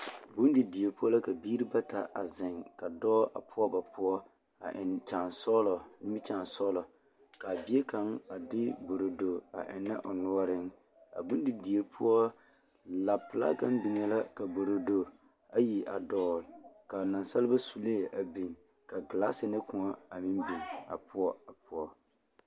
Bondidie poɔ la ka biiri bata a zeŋ ka dɔɔ a poɔ ba poɔ a eŋ nimikyaansɔɡelɔ ka a bie kaŋ a de borodo a ennɛ o noɔreŋ a bondidie poɔ lapelaa kaŋ biŋee la ka borodo ayi a dɔɔl ka naasaleba sulee a biŋ ka ɡelaase ne kõɔ a biŋ a poɔ a poɔ.